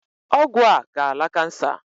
Ọgwụ a ga-ala kansa.